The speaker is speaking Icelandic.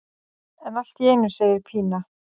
En allt í einu segir Pína.